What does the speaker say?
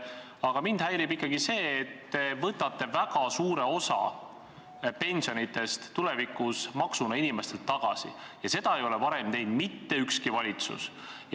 Aga mind häirib ikkagi see, et te võtate väga suure osa pensionidest tulevikus maksuna inimestelt tagasi ja seda ei ole varem teinud mitte ükski valitsus.